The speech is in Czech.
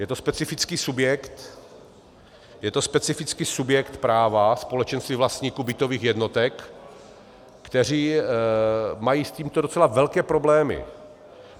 Je to specifický subjekt, je to specifický subjekt práva, společenství vlastníků bytových jednotek, kteří mají s tímto docela velké problémy.